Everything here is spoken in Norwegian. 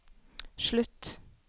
slutt